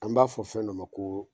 An b'a fɔ fɛn dɔ ma ko